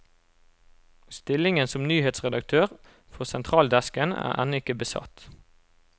Stillingen som nyhetsredaktør for sentraldesken er ennå ikke besatt.